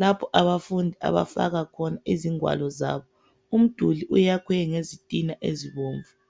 lapho abafundi abafaka khona ingwalo zabo. Umduli uyakhwe ngezitina ezibomvu.